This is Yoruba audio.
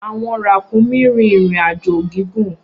Awọn rakunmi rin irin-ajo gigun.